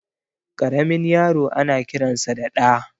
Karamin yaro ana kiransa da Ɗa